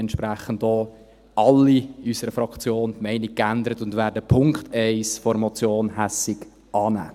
Entsprechend haben auch alle in unserer Fraktion die Meinung geändert, und wir werden den Punkt 1 der Motion Hässig annehmen.